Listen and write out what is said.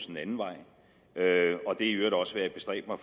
den anden vej og det er i øvrigt også hvad jeg bestræber